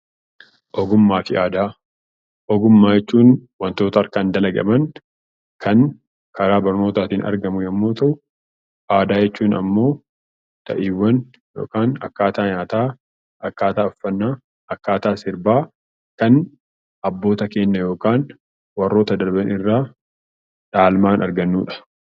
Ogummaa fi aadaa Ogummaa jechuun waantota harkaan dalagaman kan karaa barnootaatiin argamu yemmuu ta'u, aadaa jechuun immoo ta'iiwwan yookaan akkaataa nyaataa akkaataa uffanna, akkaataa sirbaa kan abboota keenya irraa yookaan warreen darban irraa dhaalmaan argannudha.